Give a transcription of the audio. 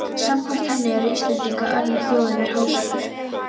Samkvæmt henni eru Íslendingar önnur þjóð yfir hásumar